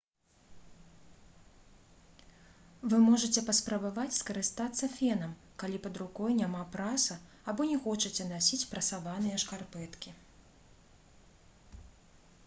вы можаце паспрабаваць скарыстацца фенам калі пад рукой няма праса або не хочаце насіць прасаваныя шкарпэткі